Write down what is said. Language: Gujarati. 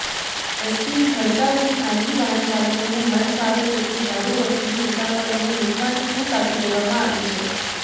એસટીની હડતાલથી ખાનગી વાહનચાલકોને મનફાવે તેટલું ભાડુ વસૂલી મુસાફરોને લૂંટવાની છૂટ આપી દેવામાં આવી છે